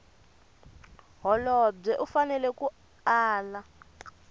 holobye u fanele a ala